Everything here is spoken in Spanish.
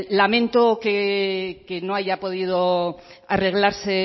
lamento que no haya podido arreglarse